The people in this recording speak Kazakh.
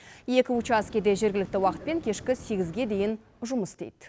екі учаске де жергілікті уақытпен кешкі сегізге дейін жұмыс істейді